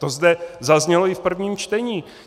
To zde zaznělo i v prvním čtení.